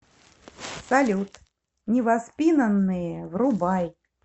салют невоспинанные врубай